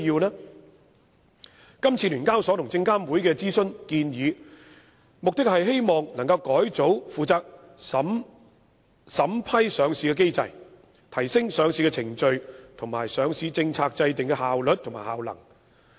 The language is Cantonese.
香港聯合交易所有限公司和證監會這次的諮詢建議，目的是希望改組負責審批上市的機制，提升上市程序和上市政策制訂的效率和效能。